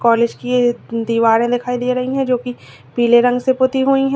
College की ये दीवारें दिखाई दे रही है जो की पीले रंग से पोती हुई है।